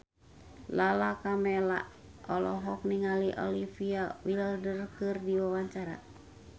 Lala Karmela olohok ningali Olivia Wilde keur diwawancara